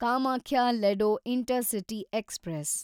Kamakhya Ledo intercity express